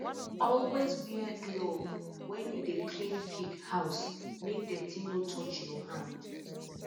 always wear glove when you dey clean pig house make dirty no touch your hand